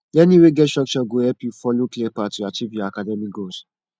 learning wey get structure go help you follow clear path to achieve your academic goals